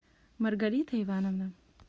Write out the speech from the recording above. маргарита ивановна